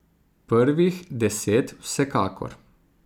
Prvih deset vsekakor.